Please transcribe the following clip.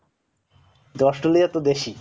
Australia তো দেশই